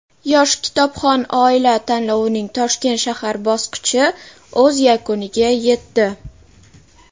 "Yosh kitobxon oila" tanlovining Toshkent shahar bosqichi o‘z yakuniga yetdi.